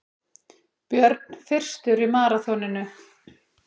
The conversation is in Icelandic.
Björn fyrstur í maraþoninu